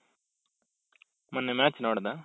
ಮೊನ್ನೆ match ನೋಡ್ದ?